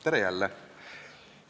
Tere jälle!